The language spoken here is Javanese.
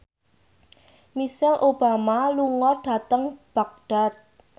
Michelle Obama lunga dhateng Baghdad